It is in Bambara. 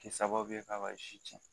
kɛ sababu ye k'a b'a zi cɛn